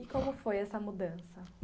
E como foi essa mudança?